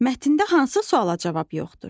Mətndə hansı suala cavab yoxdur?